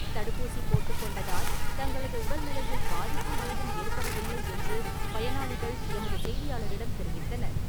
தடுப்பூசி போட்டுக் கொண்டதால், தங்களது உடல் நிலையில் பாதிப்பு ஏதும் ஏற்படவில்லை என்று பயனாளிகள் எமது செய்தியாளரிடம் தெரிவித்தனர்.